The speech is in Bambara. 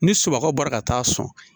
Ni sumankaw bɔra ka taa sɔn